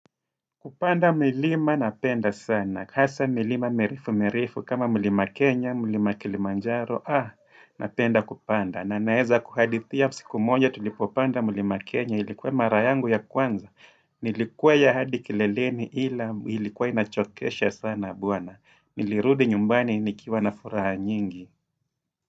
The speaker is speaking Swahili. Kupanda milima napenda sana. Hasa milima mirefumirefu kama milima Kenya, milima Kilimanjaro, ah, napenda kupanda. Na naeza kuhadithia siku moja tulipopanda milima Kenya ilikuwa marayangu ya kwanza. Nilikwea hadi kileleni ila ilikuwa inachokesha sana buana. Nilirudi nyumbani nikiwa na furaha nyingi.